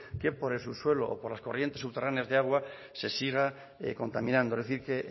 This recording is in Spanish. que por el subsuelo o por las corrientes subterráneas de agua se siga contaminando es decir que